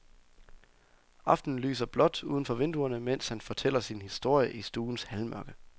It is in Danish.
Aftenen lyser blåt uden for vinduerne, mens han fortæller sin historie i stuens halvmørke.